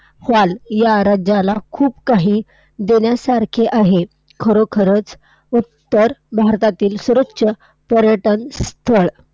व्हाल. या राज्याला खूप काही देण्यासारखे आहे. खरोखरच उत्तर भारतातील सर्वोच्च पर्यटन स्थळं!